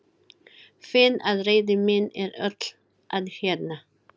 Finn að reiði mín er öll að hjaðna.